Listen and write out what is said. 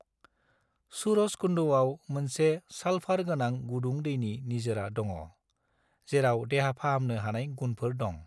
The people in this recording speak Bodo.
सूरजकुंडआव मोनसे साल्फार गोनां गुदुं दैनि निजिरा दङ, जेराव देहा फाहामनो हानाय गुनफोर दं।